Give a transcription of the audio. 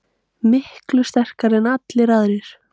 Miklu sterkari en allir aðrir.